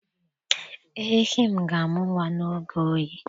Ehi m ga amụ nwa n'oge oyi.